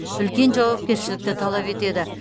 үлкен жауапкершілікті талап етеді